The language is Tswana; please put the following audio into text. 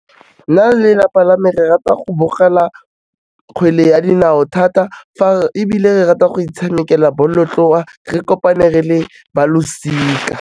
Nna le lelapa la me re rata go bogela kgwele ya dinao thata, ebile re rata go itshamekela bolotloa re kopane re le ba losika.